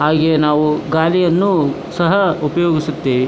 ಹಾಗೆ ನಾವು ಗಾಳಿಯನ್ನು ಸಹ ಉಪಯೋಗಿಸುತ್ತೇವೆ.